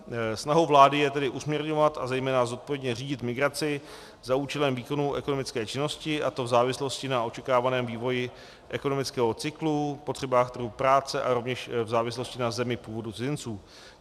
Snahou vlády je tedy usměrňovat a zejména zodpovědně řídit migraci za účelem výkonu ekonomické činnosti, a to v závislosti na očekávaném vývoji ekonomického cyklu, potřebách trhu práce a rovněž v závislosti na zemi původu cizinců.